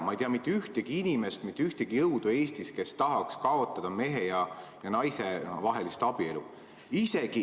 Ma ei tea mitte ühtegi inimest, mitte ühtegi jõudu Eestis, kes tahaks kaotada mehe ja naise vahelist abielu.